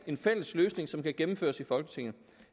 en fælles løsning som kan gennemføres i folketinget